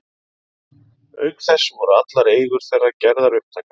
Auk þess voru allar eigur þeirra gerðar upptækar.